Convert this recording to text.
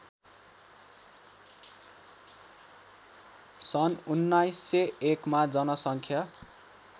सन् १९०१ मा जनसङ्ख्या